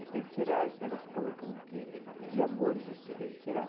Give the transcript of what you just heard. Mas tem que tirar esse negócio que eu estou colocando aqui, de amor e justiça, tem que tirar.